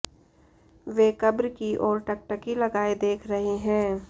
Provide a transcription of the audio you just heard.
वे कब्र की ओर टकटकी लगाए देख रहे हैं